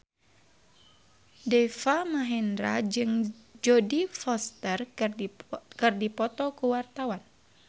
Deva Mahendra jeung Jodie Foster keur dipoto ku wartawan